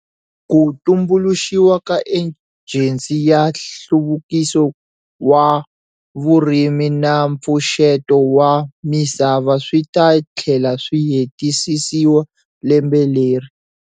Ku tumbuluxiwa ka Ejensi ya Nhluvukiso wa Vurimi na Mpfuxeto wa Misava swi ta tlhela swi hetisisiwa lembe leri.